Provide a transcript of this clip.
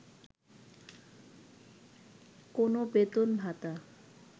কোনো বেতন ভাতা